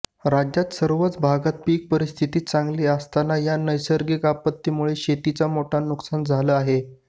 राज्यात सर्वच भागात पीक परिस्थिती चांगली असताना या नैसर्गिक आपत्तीमुळे शेतीचं मोठं नुकसान झालं आहे